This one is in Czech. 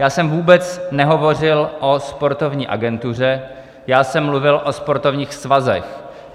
Já jsem vůbec nehovořil o sportovní agentuře, já jsem mluvil o sportovních svazech.